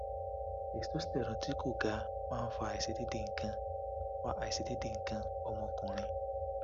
testosterone ti ko gaa ma n fa aisedeede ikan fa aisedeede ikan omokunrin